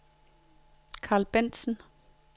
Carl Bentzen